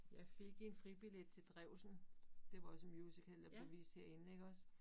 Jeg fik en fribillet til Drewsen det var også en musical der blev vist herinde iggås